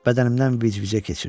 Bədənimdən vicvicə keçirdi.